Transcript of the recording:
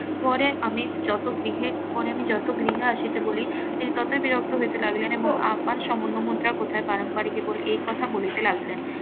পরে আমি যত গৃহে পরে আমি যত গৃহে আসিতে বলি তিনি ততই বিরক্ত হইতে লাগিলেন এবং আমার স্বর্ণ মুদ্রা কোথায় পালন বাড়ি কে বলে এই কথা বলিতে লাগিলেন